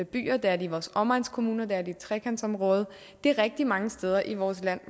byer det er det i vores omegnskommuner det er det i trekantsområdet det er rigtig mange steder i vores land